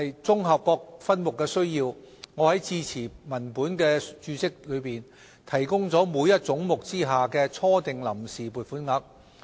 綜合各分目的需要，我在致辭文本的註釋中提供了每一總目之下的初訂臨時撥款額。